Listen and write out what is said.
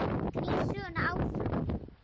Það knýr söguna áfram